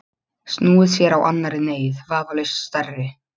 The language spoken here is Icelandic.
Snúið sér að annarri neyð, vafalaust stærri.